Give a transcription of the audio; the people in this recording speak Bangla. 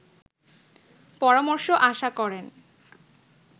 পরামর্শ আশা করেন